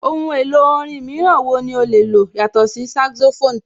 Ohun èlò orin mìíràn ní o lè lò yàtọ̀ sí saxophone?